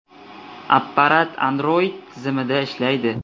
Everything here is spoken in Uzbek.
Apparat Android tizimida ishlaydi.